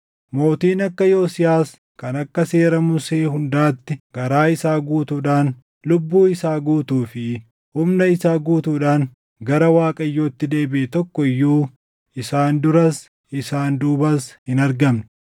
Mootiin akka Yosiyaas kan akka Seera Musee hundaatti garaa isaa guutuudhaan, lubbuu isaa guutuu fi humna isaa guutuudhaan gara Waaqayyootti deebiʼe tokko iyyuu isaan duras isaan duubas hin argamne.